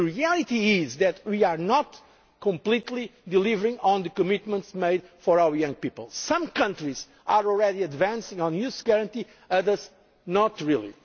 The reality is that we are not completely delivering on the commitments made for our young people. Some countries are already advancing on the Youth Guarantee, others not